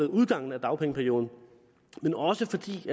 udgangen af dagpengeperioden